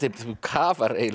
þú kafar eiginlega